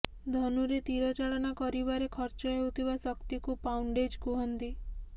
ଧନୁରେ ତୀର ଚାଳନା କରିବାରେ ଖର୍ଚ୍ଚ ହେଉଥିବା ଶକ୍ତିକୁ ପାଉଣ୍ଡେଜ କୁହନ୍ତି